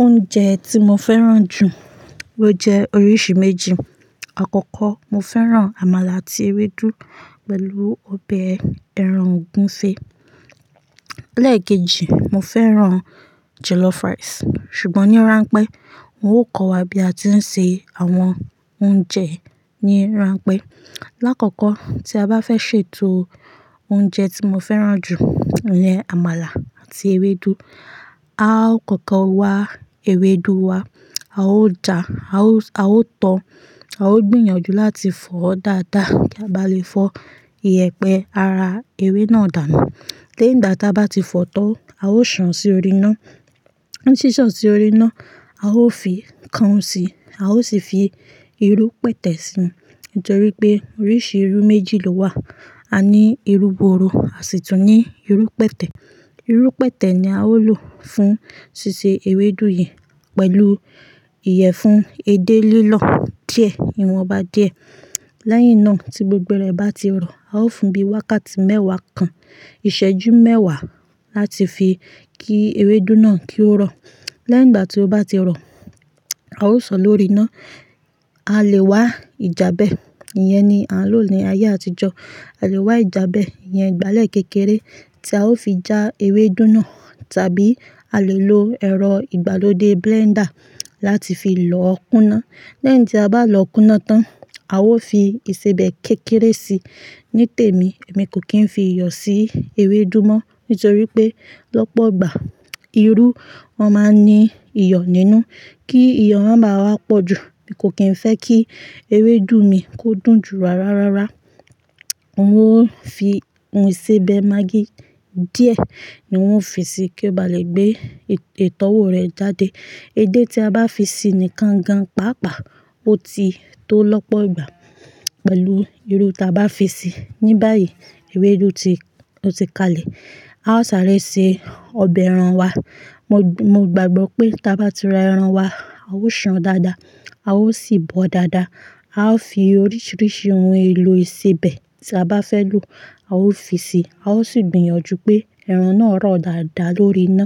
Oúnjẹ tí mo fẹ́ràn jù ó jẹ́ oríṣi méjì. Àkọ́kọ́ mo fẹ́ràn àmàlà àti ewédú pẹ̀lú ọbẹ̀ ẹran ògúnfe. Lẹ́ẹ̀keji, mo fẹ́ràn jollof rice. Ṣùgbọ́n ní ranpẹ́ n ó kọ́ wa bí a ti ń se àwọn oúnjẹ ní ranpẹ́. Láàkọ́kọ́ tí a bá fẹ́ ṣètò oúnjẹ tí mo fẹ́ràn jù iyen àmàlà àti ewédú. A ó kọ́kọ́ wa ewédú wa, a ó ja, a ó, a ó tọ́, a ó gbìyànjú láti fọ dáadáa kí a bá lè fọ iyẹ̀pẹ̀ ara ewé náà dànù. Léń dà táa bá ti fọ́ tán, a ó sàn sí orí iná. Ni sàn sí orí iná, a ó fi kan o sí, a ó sì fi irú pẹ̀tẹ̀ sínú. Nítorí pé oríṣi irú méjì ló wà. A ní irú gbuuru, àsi tún ní irú pẹ̀tẹ̀. Irú pẹ̀tẹ̀ ni a ó lò fún ṣíṣe ewédú yìí pẹ̀lú ìyẹ̀fun èdè lílọ̀ díẹ̀ ìwọ̀nba díẹ̀. Lẹ́yìn náà tí gbogbo rẹ̀ bá ti rọ, a ó fún bí wákàtí mẹ́wàá kan, ìṣẹ́jú mẹ́wàá láti fi kí ewédú náà kí ó rọ̀. Lẹ́yìn ìgbà tí ó bá ti rọ, a ó sàn lórí iná. A lè wá ìjabẹ́, ìyẹn ni à ń lò ní ayé àtijọ́. A lè wá ìjabẹ́ ìyẹn ìgbálẹ̀ kékeré tí a ó fi já ewédú náà, tàbí a lè lo ẹ̀rọ ìgbàlódé blender láti fi lọ́ kúná. Lẹ́yìn tí a bá lọ́ kúná tán, a ó fi ìsebẹ̀ kékeré si. Nítèmi, èmi kò kí ń fi iyọ̀ sí ewédú mọ́ nítorí pé lọ́pọ̀ ìgbà irú, wọ́n máa ń ní iyọ̀ nínú. Kí iyọ̀ wọ́n má wá pọ̀ jù, mi kò kín ń fẹ́ kí ewédú mi kó dùn jù ara rárá. N ó fi ohun ìsebẹ̀ maggi díẹ̀ ni ó fi sí i kí ó bá lè gbé ìtọ́wò rẹ̀ jáde. Èdè tí a bá fi ṣi ni kan-n-kan, pa-a-pa, ó ti tó lọ́pọ̀ ìgbà pẹ̀lú irú tí a bá fi ṣi. Ní báyìí ewédú ti, ó ti kalẹ̀. A ó sáré sí ọbẹ̀ ẹran wa. Mo, mo gbàgbọ́ pé tí a bá ti ra ẹran wa, a ó sàn dáadáa, a ó sì bọ̀ dáadáa. A ó fi oríṣiríṣi ohun èlò ìsebẹ̀ tí a bá fẹ́ lò, a ó fi sí i. A ó sì gbìyànjú pé ẹran náà rọ̀ dáadáa lórí iná.